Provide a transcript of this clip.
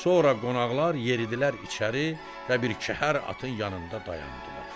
Sonra qonaqlar yeridilər içəri və bir kəhər atın yanında dayandılar.